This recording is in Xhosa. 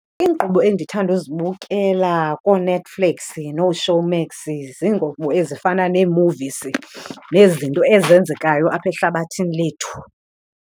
Iinkqubo endithanda uzibukela kooNetflix nooShowmax ziinkqubo ezifana nee-movies nezinto ezenzekayo apha ehlabathini lethu.